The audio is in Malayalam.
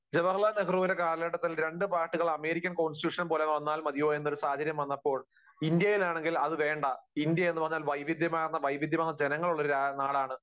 ജവഹർലാൽ നെഹ്റുവിൻറെ കാലഘട്ടത്തിൽ രണ്ടു പാർട്ടികൾ അമേരിക്കൻ കോൺസ്റ്റിട്യൂഷൻ പോലെ വന്നാൽ മതിയോ എന്നുള്ള സാഹചര്യം വന്നപ്പോൾ ഇന്ത്യയിലാണെങ്കിൽ അത് വേണ്ട, വൈവിധ്യമാർ, വൈവിധ്യമാർന്ന ജനങ്ങളുള്ള ഒരു നാടാണ്.